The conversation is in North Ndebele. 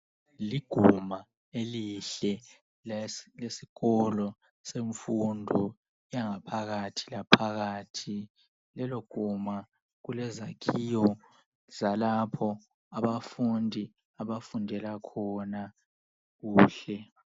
Liguma elihle lesikolo semfundo yangaphakathi laphakathi. Leloguma kulezakhiwo zalapho abafundi abafundela khona kuhle